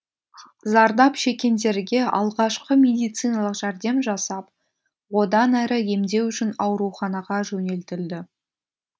зардап шеккендерге алғашқы медициналық жәрдем жасап одан әрі емдеу үшін ауруханаға жөнелтілді